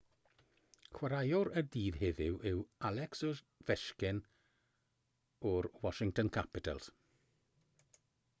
chwaraewr y dydd heddiw yw alex ovechkin o'r washington capitals